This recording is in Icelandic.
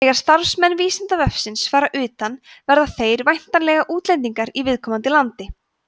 þegar starfsmenn vísindavefsins fara utan verða þeir væntanlega útlendingar í viðkomandi landi